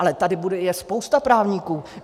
Ale tady je spousta právníků.